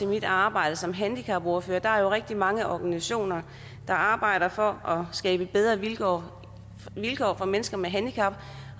mit arbejde som handicapordfører at der jo er rigtig mange organisationer der arbejder for skabe bedre vilkår for mennesker med handicap